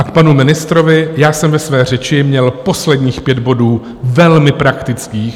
A k panu ministrovi: Já jsem ve své řeči měl posledních pět bodů velmi praktických.